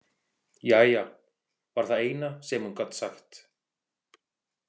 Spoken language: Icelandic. Jæja, var það eina sem hún gat sagt.